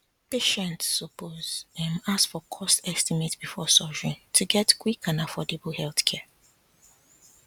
patients suppose um ask for cost estimate before surgery to get quick and affordable healthcare